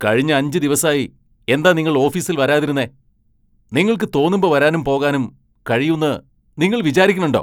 കഴിഞ്ഞ അഞ്ച് ദിവസായി എന്താ നിങ്ങൾ ഓഫീസിൽ വരാതിരുന്നെ? നിങ്ങൾക്ക് തോന്നുമ്പോ വരാനും പോകാനും കഴിയൂന്ന് നിങ്ങൾ വിചാരിക്കണുണ്ടോ ?